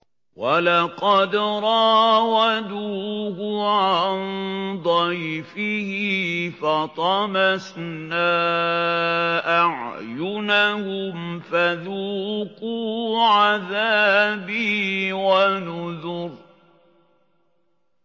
وَلَقَدْ رَاوَدُوهُ عَن ضَيْفِهِ فَطَمَسْنَا أَعْيُنَهُمْ فَذُوقُوا عَذَابِي وَنُذُرِ